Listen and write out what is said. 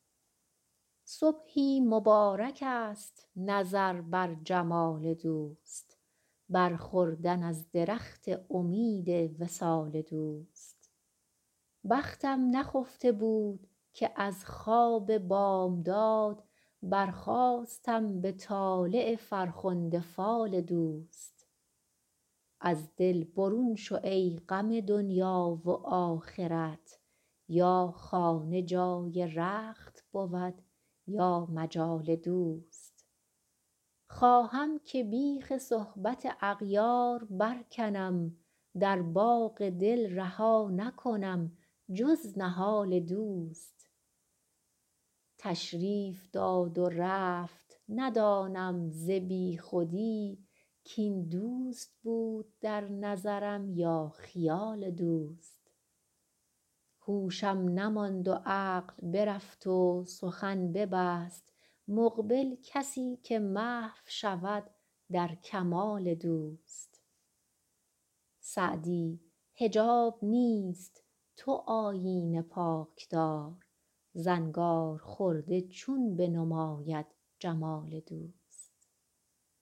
صبحی مبارکست نظر بر جمال دوست بر خوردن از درخت امید وصال دوست بختم نخفته بود که از خواب بامداد برخاستم به طالع فرخنده فال دوست از دل برون شو ای غم دنیا و آخرت یا خانه جای رخت بود یا مجال دوست خواهم که بیخ صحبت اغیار برکنم در باغ دل رها نکنم جز نهال دوست تشریف داد و رفت ندانم ز بیخودی کاین دوست بود در نظرم یا خیال دوست هوشم نماند و عقل برفت و سخن نبست مقبل کسی که محو شود در کمال دوست سعدی حجاب نیست تو آیینه پاک دار زنگارخورده چون بنماید جمال دوست